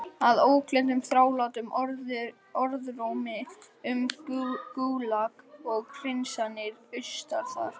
Að ógleymdum þrálátum orðrómi um Gúlag og hreinsanir austur þar.